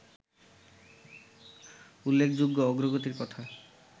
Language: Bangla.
উল্লেখযোগ্য অগ্রগতির কথা